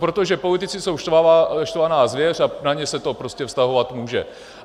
Protože politici jsou štvaná zvěř a na ně se to prostě vztahovat může.